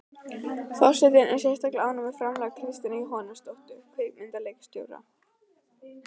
Forseti er sérstaklega ánægð með framlag Kristínar Jóhannesdóttur kvikmyndaleikstjóra.